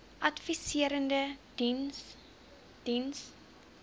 adviserende diens diens